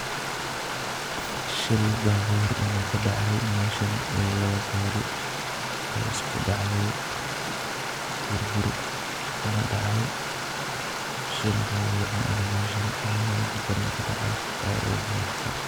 Shil baabur inuu ka dhacay meeshan, ee laba gaari ay isku dhacday burbur kana dacay. Shil baaburna inuu meesha aad u daran ka dhacay ay iimuqata.